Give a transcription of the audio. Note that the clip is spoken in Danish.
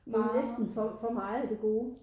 Næsten for meget af det gode